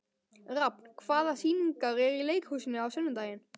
Rafn, hvaða sýningar eru í leikhúsinu á sunnudaginn?